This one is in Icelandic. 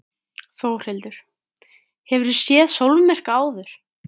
Þórhildur: Hefurðu séð sólmyrkva áður?